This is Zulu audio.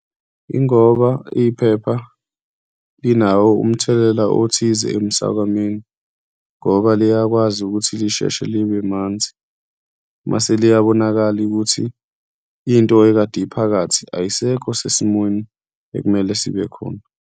Yingoba iphepha linawo umthelela othize emsakwameni ngoba liyakwazi ukuthi lisheshe libe manzi mase liyabonakala ukuthi into ekade iphakathi ayisekho sesimweni ekumele sibekhona.